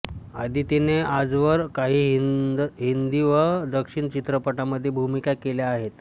आदितीने आजवर काही हिंदी व दक्षिणी चित्रपटांमध्ये भूमिका केल्या आहेत